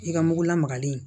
I ka mugu lamagalen